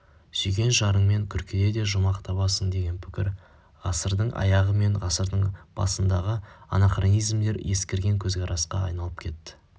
сүйген жарыңмен күркеде де жұмақ табасың деген пікір ғасырдың аяғы мен ғасырдың басындағы анахронизмдер ескірген көзқарасқа айналып кетті